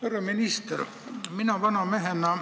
Härra minister!